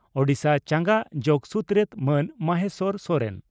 ᱳᱰᱤᱥᱟ ᱪᱟᱸᱜᱟ ᱡᱚᱜᱚ ᱥᱩᱛᱨᱮᱛ ᱢᱟᱱ ᱢᱚᱦᱮᱥᱚᱨ ᱥᱚᱨᱮᱱ